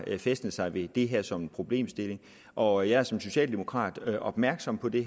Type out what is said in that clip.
fæstnet sig ved det her som en problemstilling og jeg er som socialdemokrat opmærksom på det